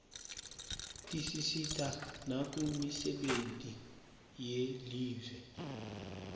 tisisita nakumisebenti yelive